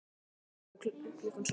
Ég vaknaði klukkan sjö.